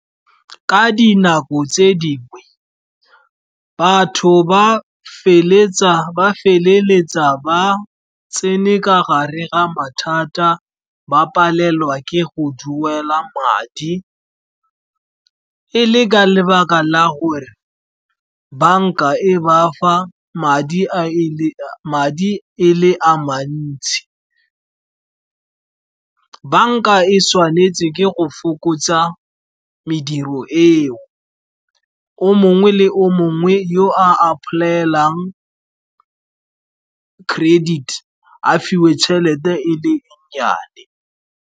Ka dinako tse dingwe batho ba feleletsa ba tsene ka gare ga mathata, ba palelwa ke go duela madi. E le ka lebaka la gore banka e ba fa madi e le a mantsi. Banka e tshwanetse ke go fokotsa mediro eo, o mongwe le o mongwe yo a apply-elang credit a fiwe tšhelete e le nnyane.